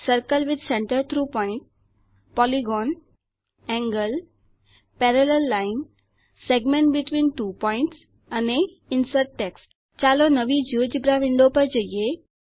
circle with centre through point polygon angle parallel line segment between two points અને insert text ચાલો નવી GeoGebra window પર જઈએ